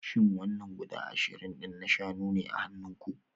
Shin wannan guda ashirin din na shanu ne a hannunku?